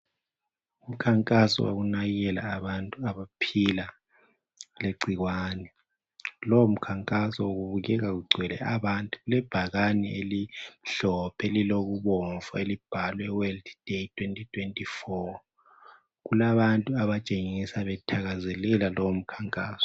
Umkhankaso wokunakekela abantu abaphila legcikwane. Lowo mkhankaso kubukeka kugcwele abantu, kulebhakane elimhlophe elilokubomvu elibhalwe World Day 2024. Kulabantu abatshengisa bethakazelela lowo mkhankaso.